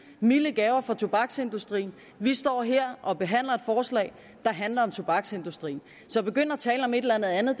milde gaver fra tobaksindustrien vi står her og behandler et forslag der handler om tobaksindustrien så at begynde at tale om et eller andet